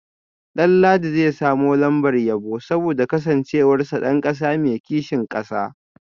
Danladi zai samu lambar yabo saboda kasancewarsa dan kasa mai kishin kasa